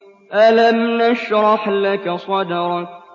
أَلَمْ نَشْرَحْ لَكَ صَدْرَكَ